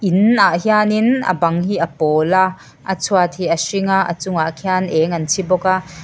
in ah hian in a bang hi a pawl a a chhuat hi a hring a a chungah khian eng an chhi bawk a--